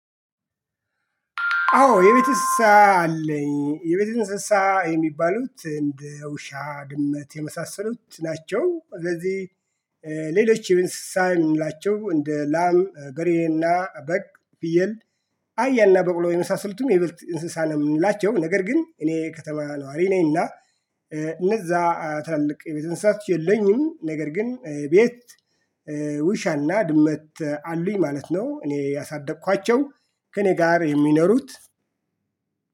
አዎ የቤት እንስሳ አለኝ የቤት እንስሳ የሚባሉት እንደ ውሻ ድመት የመሳሰሉት ናቸው። ስለዚህ ሌሎች የእንስሳ ምንላቸው እንደ ላም በሬና በግ ፍየል አህያና በቅሎ የመሳሰልቱም የብልት እንስሳ ነው የምንላቸው ነገር ግን እኔ ከተማ ነዋሪ ነኝና እነዛ ታላላቅ የቤት እንስሳቶች የለኝም ነገር ግን የቤት ውሻና ድመት አሉኝ ማለት ነው። እኔ ያሳደኳቸው ከእኔ ጋር የሚኖሩት